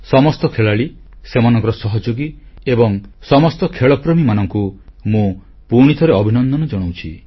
ସମସ୍ତ ଖେଳାଳି ସେମାନଙ୍କର ସହଯୋଗୀ ଏବଂ ସମସ୍ତ ଖେଳପ୍ରେମୀମାନଙ୍କୁ ମୁଁ ପୁଣିଥରେ ଅଭିନନ୍ଦନ ଜଣାଉଛି